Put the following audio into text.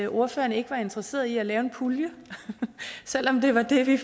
ordførerne ikke var interesserede i at lave en pulje selv om det var det vi